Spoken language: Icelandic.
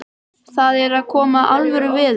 Það er að koma alvöru veður.